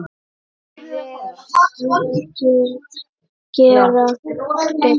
Hver þarf að gera betur?